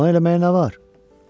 Ona eləməyə nə var?